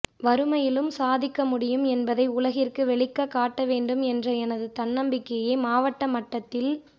வறுமையிலும் சாதிக்க முடியும் என்பதை உலகிற்கு வெளிக்க காட்ட வேண்டும் என்ற எனது தன்னம்பிக்கையே மாவட்ட மட்டத்தில்